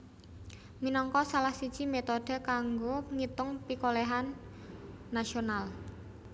minangka salah siji métode kanggo ngitung pikolèhan nasional